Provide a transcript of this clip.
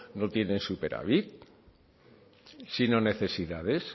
no tienen superávit si no necesidades